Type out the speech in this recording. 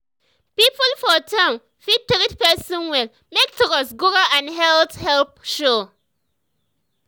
people for town fit treat person well make trust grow and health help show.